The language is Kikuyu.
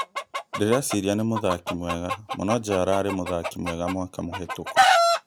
Ndĩreciria nĩ mũthaki mwega mũnobja ararĩ mũthaki mwega mwaka mũhetũku